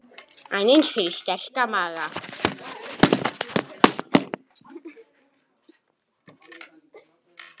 Aðeins fyrir sterka maga.